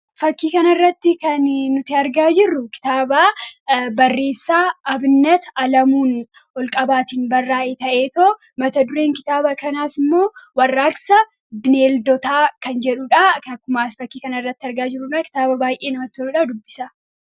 Fakkii kana irratti kan nuti argaa jirru, kitaaba barreessaa Abinnat Alamuu Olqabaan barraa'e ta'eetu mata dureen kitaaba kanaas immoo "warraaqsa bineeldootaa" kan jedhudha. Akkuma fakkii kana irratti argaa jirru, kan baay'ee namatti toluudha, dubbisaa.